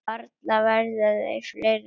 Varla verða þeir fleiri.